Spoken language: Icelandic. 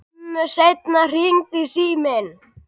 Skömmu seinna hringdi síminn.